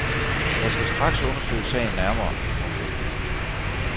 Jeg skal straks undersøge sagen nærmere. punktum